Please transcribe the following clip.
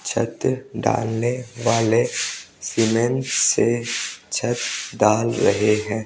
छत ढालने वाले सीमेंट से छत ढाल रहे हैं।